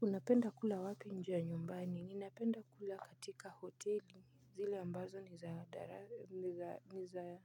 Unapenda kula wapi nje ya nyumbani ninapenda kula katika hoteli zile ambazo ni za dara ni za